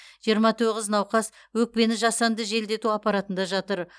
жиырма тоғыз науқас өкпені жасанды желдету аппаратында жатыр